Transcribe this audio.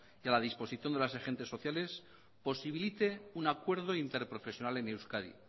y a la disposición de los agentes sociales posibilite un acuerdo interprofesional en euskadi